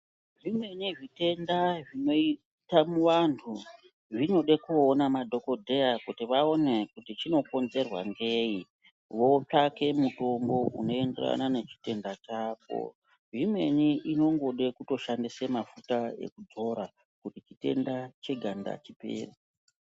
Zvimweni zvitenda zvinoite vantu zvinode kuona madhokodheya kuti vaone kuti chinokonzerwa ngei votsvake mutombo unoyenderana nechitenda chako. Zvimweni zvingoda kushandisa mafuta ekudzora kuti chitenda cheganda chipere.